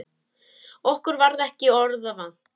Okkur varð ekki orða vant.